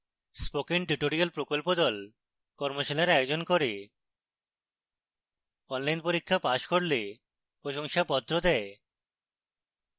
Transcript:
spoken tutorial প্রকল্প the কর্মশালার আয়োজন করে অনলাইন পরীক্ষা পাস করলে প্রশংসাপত্র দেয়